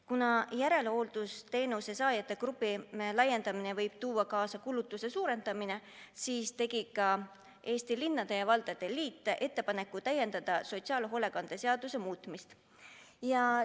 Kuna järelhooldusteenuse saajate grupi laiendamine võib tuua kaasa kulutuste suurenemise, siis tegi ka Eesti Linnade ja Valdade Liit ettepaneku täiendada sotsiaalhoolekande seaduse muutmise seadust.